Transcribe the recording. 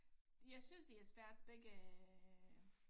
Jeg synes det er svært begge øh